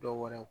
Dɔw wɛrɛ